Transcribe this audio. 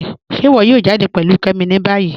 Ṣe íwọ yóò jàdẹ pẹ̀lú Kẹ́mí ní báyì?